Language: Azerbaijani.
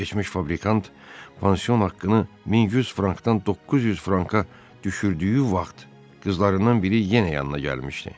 Keçmiş fabrikant pansion haqqını 1100 frankdan 900 franka düşürdüyü vaxt qızlarından biri yenə yanına gəlmişdi.